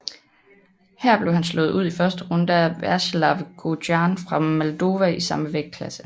Her blev han slået ud i første runde af Veaceslav Gojan fra Moldova i samme vægtklasse